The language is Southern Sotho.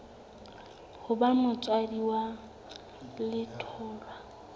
ho ba motswadi wa letholwa